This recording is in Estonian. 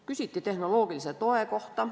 Küsiti tehnoloogilise toe kohta.